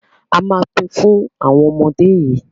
a má Pin Fun àwọn ọmọ dé yí.